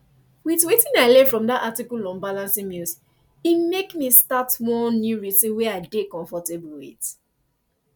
with wetin i learn from dat article on balancing meals e make me start one new routine wey i dey comfortable with